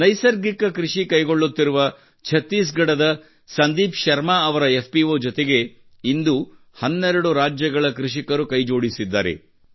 ನೈಸರ್ಗಿಕ ಕೃಷಿ ಕೈಗೊಳ್ಳುತ್ತಿರುವ ಛತ್ತೀಸ್ಗಢದ ಸಂದೀಪ್ ಶರ್ಮಾ ಅವರ ಎಫ್ಪಿಒ ಜೊತೆಗೆ ಇಂದು 12 ರಾಜ್ಯಗಳ ಕೃಷಿಕರು ಕೈಜೋಡಿಸಿದ್ದಾರೆ